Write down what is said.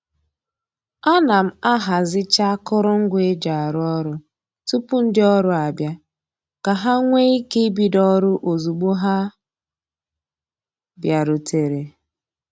A na m ahazicha akụrụngwa e ji arụ ọrụ tupu ndị ọrụ abịa ka ha nwee ike ibido ọrụ ozugbo ha bịarutere